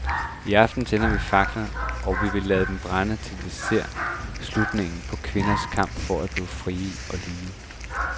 I aften tænder vi fakler, og vi vil lade dem brænde, til vi har set slutningen på kvindernes kamp for at blive frie og lige.